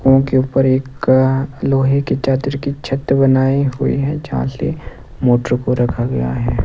उनके ऊपर एक लोहे की चादर की छत बनाई हुई हैं जहाँ पे मोटर को रखा गया है।